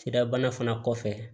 Sirabana fana kɔfɛ